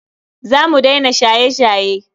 Za mu daina shaye-shaye.